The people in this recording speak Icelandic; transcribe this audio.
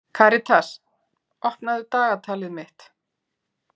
Karitas, opnaðu dagatalið mitt.